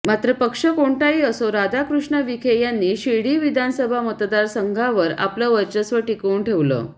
मात्र पक्ष कोणातही असो राधाकृष्ण विखे यांनी शिर्डी विधानसभा मतदारसंघावर आपलं वर्चस्व टिकवून ठेवलं